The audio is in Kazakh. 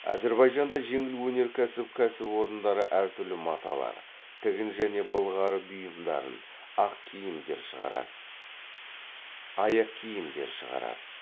әзірбайжанда жеңіл өнеркәсіп кәсіпорындары әртүрлі маталар тігін және былғары бұйымдарын аяқкиімдер шығарады